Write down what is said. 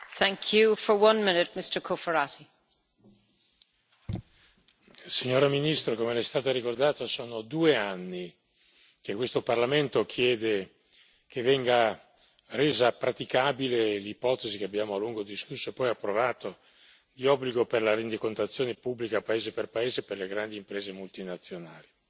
Signora Presidente, onorevoli colleghi, signora ministro, come le è stato ricordato, sono due anni che questo Parlamento chiede che venga resa praticabile l'ipotesi, che abbiamo a lungo discusso e poi approvato, di obbligo di rendicontazione pubblica, paese per paese, per le grandi imprese multinazionali.